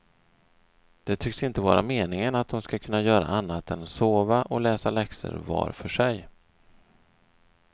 Det tycks inte vara meningen att dom ska kunna göra annat än sova och läsa läxor var för sig.